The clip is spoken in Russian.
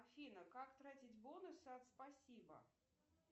афина как тратить бонусы от спасибо